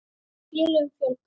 Félögum fjölgar